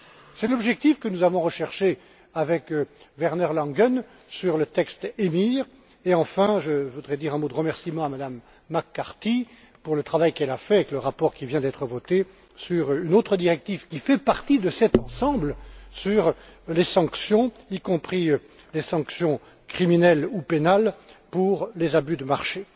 C'est l'objectif que nous avons recherché avec Werner Langen sur le texte EMIR et, enfin, je voudrais dire un mot de remerciement à Mme McCarthy pour le travail qu'elle a fait avec le rapport qui vient d'être voté sur une autre directive qui fait partie de cet ensemble sur les sanctions, y compris des sanctions criminelles ou pénales pour les abus de marché.